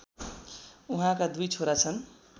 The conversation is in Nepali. उहाँका दुई छोरा छन्